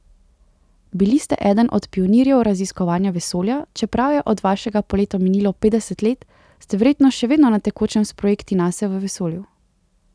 Bili ste eden od pionirjev raziskovanja vesolja, čeprav je od vašega poleta minilo petdeset let, ste verjetno še vedno na tekočem s projekti Nase v vesolju?